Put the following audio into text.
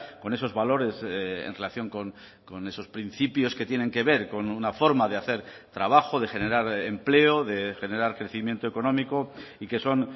con esos valores en relación con esos principios que tienen que ver con una forma de hacer trabajo de generar empleo de generar crecimiento económico y que son